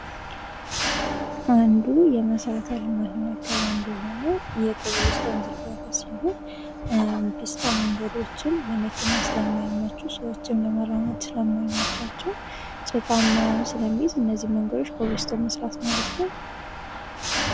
አንዱ የመሠረተ ልማት ማእከል አንዱ የሆነው የኮብል ስቶን ዝርጋታ ሲሆን ፒስታ መንገዶችን ለመኪና ስለማይመቹ ሰዎችም ለመራመድ ስለማይመቻቸውን ሽፋን ምናምን ስለሚይዝ እነዚህን መንገዶች የኮብል ስቶን መስራት ማለት ነው።